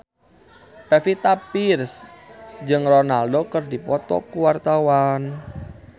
Pevita Pearce jeung Ronaldo keur dipoto ku wartawan